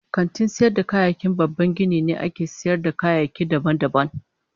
Kantin sayar da kayayyaki babban gini ne da ake sayar da kayayyaki daban-daban.